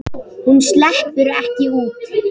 Hún sleppur ekki út.